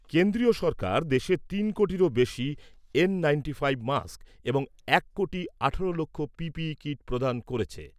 কেন্দ্রীয় সরকার দেশে তিন কোটিরও বেশি এন নাইন্টি ফাইভ মাস্ক এবং এক কোটি আঠেরো লক্ষ পিপিই কিট প্রদান করেছে।